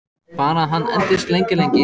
Bara að hann endist lengi, lengi.